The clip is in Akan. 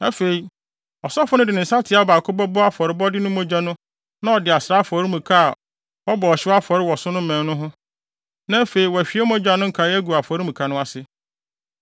Afei, ɔsɔfo no de ne nsateaa baako bɛbɔ afɔrebɔde mogya no mu na ɔde asra afɔremuka a wɔbɔ ɔhyew afɔre wɔ so no mmɛn no ho; na afei wɔahwie mogya no nkae agu afɔremuka no ase.